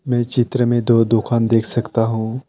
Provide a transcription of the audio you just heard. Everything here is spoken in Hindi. ये चित्र में दो दुकान देख सकता हूँ।